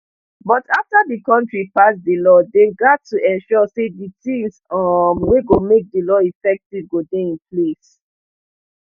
but afta di kontri pass di law dem gat to ensure say di tins um wey go make di law effective go dey in place